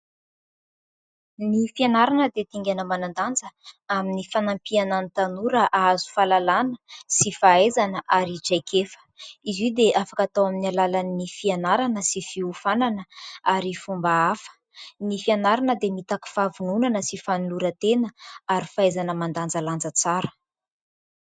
Ny fianarana dia dingana manan-danja amin'ny fanampiana ny tanora hahazo fahalalàna sy fahaizana arytraikefa. Izy io dia afaka atao amin'ny alàlan'ny fianarana sy fiofanana ary fomba hafa. Ny fianarana dia mitaky fahavonònana sy fanoloran-tena ary fahaizana mandanjalanja tsara.